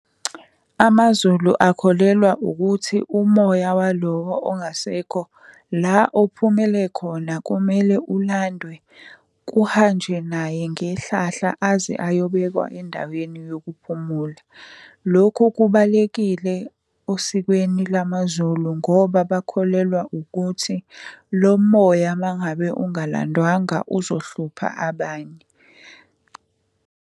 AmaZulu akholelwe ukuthi umoya walowo ongasekho, la ophumele khona kumele ulandwe, kuhanjwe naye ngehlahla aze ayobekwa endaweni yokuphumula. Lokhu kubalekile osikweni lamaZulu ngoba bakholelwa ukuthi lo moya uma ngabe ungalandwanga uzohlupha abanye.